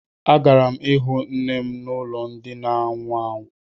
Agara m ịhụ nne m n'ụlọ ndi na ánwụ ánwụ